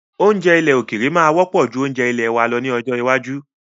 Oúnjẹ òkèèrè máa wọ́pọ̀ ju oúnjẹ ilèe wa lọ ní ọjọ́ iwájú.